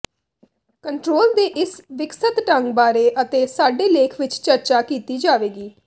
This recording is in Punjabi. ਕੰਟਰੋਲ ਦੇ ਇਸ ਵਿਕਸਤ ਢੰਗ ਬਾਰੇ ਅਤੇ ਸਾਡੇ ਲੇਖ ਵਿਚ ਚਰਚਾ ਕੀਤੀ ਜਾਵੇਗੀ